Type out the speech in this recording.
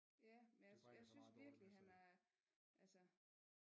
Ja men jeg synes virkelig han er altså